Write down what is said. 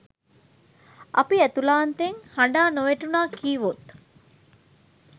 අපි ඇතුලාන්තයෙන් හඬා නොවැටුනා කීවොත්